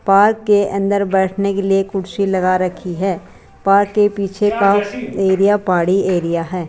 Park के अंदर बैठने के लिए कुर्सी लगा रखी है पार्क के पीछे का एरिया पहाड़ी एरिया है।